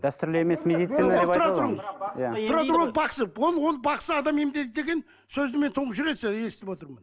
дәстүрлі емес медицина деп ол ол бақсы адам емдейді деген сөзді мен тұңғыш рет естіп отырмын